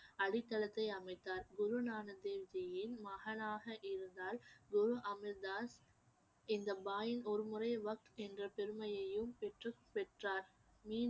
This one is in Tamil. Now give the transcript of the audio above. அடித்தளத்தை அமைத்தார் குருநானக் தேவ் ஜியின் மகனாக இருந்தால் குரு அமர்தாஸ் இந்த ஒருமுறை என்ற பெருமையையும் பெற்றுப்~ பெற்றார்